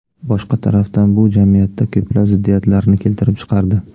Boshqa tarafdan, bu jamiyatda ko‘plab ziddiyatlarni keltirib chiqardi.